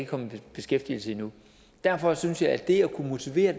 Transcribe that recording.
kommet i beskæftigelse endnu derfor synes jeg at det at kunne motivere